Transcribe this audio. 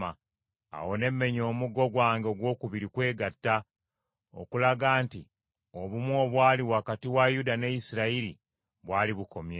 Awo ne mmenya omuggo gwange ogwokubiri Kwegatta, okulaga nti obumu obwali wakati wa Yuda ne Isirayiri bwali bukomye.